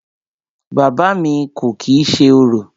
Bàbá à mi kò kìí ṣe orò.